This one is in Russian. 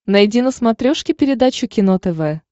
найди на смотрешке передачу кино тв